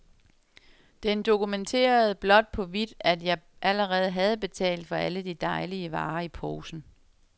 Den dokumenterede blåt på hvidt, at jeg allerede havde betalt for alle de dejlige varer i posen.